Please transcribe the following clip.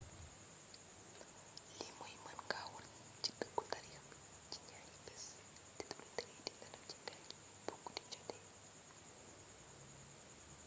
li mooy mën nga wër ci dëkku taarix bi ci ñaari bés té dula tere di nélaw ci gaal gi bu guddi joote